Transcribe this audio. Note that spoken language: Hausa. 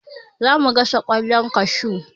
Za mu gasa ƙwallon kashu.